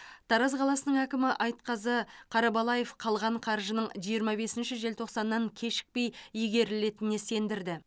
тараз қаласының әкімі айтқазы қарабалаев қалған қаржының жиырма бесінші желтоқсаннан кешікпей игерілетініне сендірді